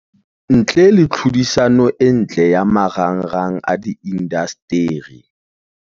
ntle le tlhodisano e ntle ya marangrang a diindasteri.